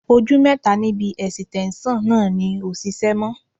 Ojú mẹ́ta níbi ẹ̀sìtẹ́ńṣọ̀ náà ò ṣiṣẹ́ mọ́